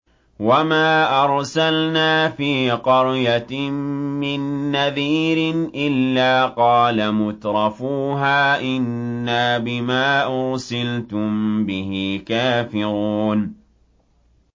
وَمَا أَرْسَلْنَا فِي قَرْيَةٍ مِّن نَّذِيرٍ إِلَّا قَالَ مُتْرَفُوهَا إِنَّا بِمَا أُرْسِلْتُم بِهِ كَافِرُونَ